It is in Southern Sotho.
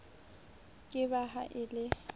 ke ba ha e le